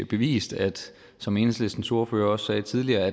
bevist som enhedslistens ordfører også sagde tidligere